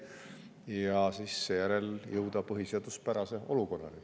Ja seejärel jõuda põhiseaduspärase olukorrani.